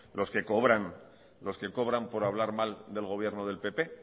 los que cobran por hablar mal del gobierno de pp